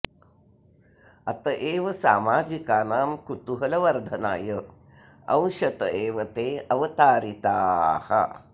अत एव सामाजिकानां कुतूहलवर्धनाय अंशत एव ते अवतारिताः